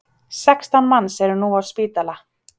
Sextán manns eru nú á spítala